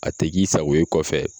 A te k'i sago ye kɔfɛ